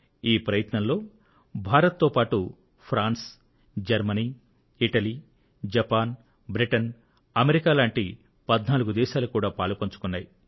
ఈ ప్రయత్నంలో భారత్ తో పాటు France Germany Italy Japan Britain America లాంటి 14 దేశాలు కూడా పాలుపంచుకున్నాయి